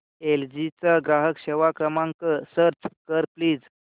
L G चा ग्राहक सेवा क्रमांक सर्च कर प्लीज